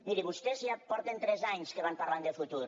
miri vostès ja fa tres anys que van parlant de futur